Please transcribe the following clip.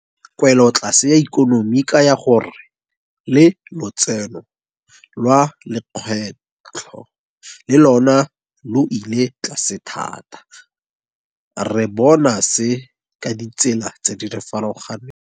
Kwelotlase ya ikonomi e kaya gore le lotseno lwa lekgetho le lona lo ile tlase thata. Re bona se ka ditsela tse di farologaneng.